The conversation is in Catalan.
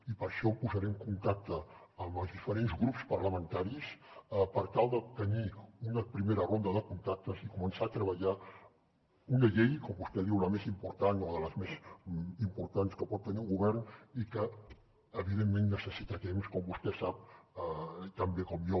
i per això em posaré en contacte amb els diferents grups parlamentaris per tenir una primera ronda de contactes i començar a treballar una llei com vostè diu la més important o de les més importants que pot tenir un govern i que evidentment necessita temps com vostè sap tan bé com jo